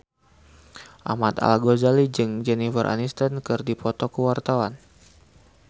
Ahmad Al-Ghazali jeung Jennifer Aniston keur dipoto ku wartawan